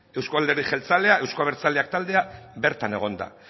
euzko alderdi jeltzalea euzko abertzaleak taldea bertan egon da